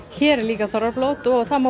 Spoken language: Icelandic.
hér er líka blót og